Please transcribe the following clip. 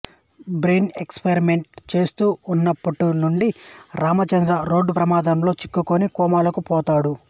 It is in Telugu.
బ్రెయిన్ ఎక్స్పరిమెంట్ చేస్తూ వున్నట్టుండి రాయచంద్ర రోడ్డు ప్రమాదంలో చిక్కుకుని కోమాలోకి పోతాడు